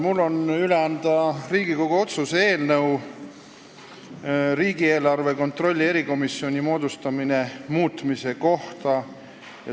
Mul on üle anda Riigikogu otsuse "Riigikogu otsuse "Riigieelarve kontrolli erikomisjoni moodustamine" muutmine" eelnõu.